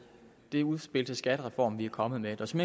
det udspil til skattereform vi er kommet med og som